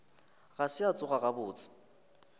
ga se a tsoga gabotse